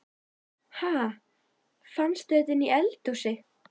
Ha! Fannstu þetta inni í eldhúsi?